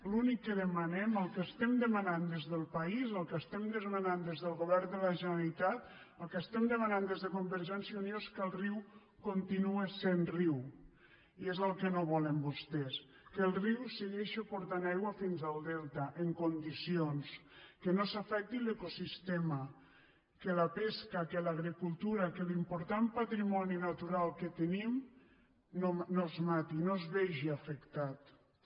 l’únic que demanem el que demanem des del país el que demanem des del govern de la generalitat el que demanem des de convergència i unió és que el riu continue sent riu i és el que no volen vostès que el riu segueixi portant aigua fins al delta en condicions que no s’afecti l’ecosistema que la pesca que l’agricultura que l’important patrimoni natural que tenim no es matin no es vegin afectats